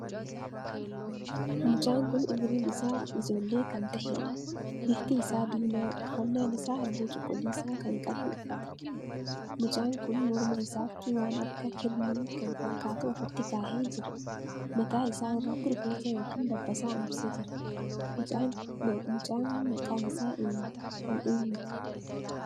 Mucaan kun umuriin isaa ijoollee kan taheedha. bifti isaa diimaa, uffannaan isaa halluu cuquliisaa kan qabu uffata. mucaan kun morma isaatti waan akka kirnii kan fakkaatu ofitti kaahee jira. mata isaa irratti rifeensa ykn dabbasaa ambise jira. mucaan Maqaa isaa eenyu? Kan eenyuti?